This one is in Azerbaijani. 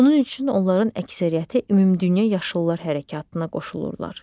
Bunun üçün onların əksəriyyəti ümumdünya yaşıllar hərəkatına qoşulurlar.